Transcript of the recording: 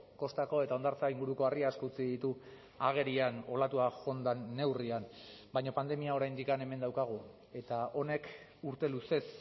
kostako eta hondartza inguruko harri asko utzi ditu agerian olatua joan den neurrian baina pandemia oraindik hemen daukagu eta honek urte luzez